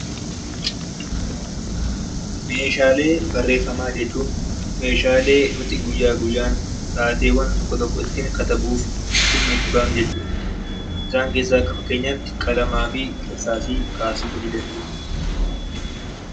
Meeshaalee barreeffamaa jechuun meeshaalee nuti guyyaa guyyaan taateewwan tokko tokko ittiin katabuuf dhimma itti baanu jechuu dha. Isaan keessaa akka fakkeenyaa tti Qalamaa fi Irsaasii kaasuu nii dandeenya.